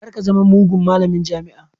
Kar ka zama mugun malamin jami'a